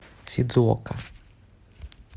сидзуока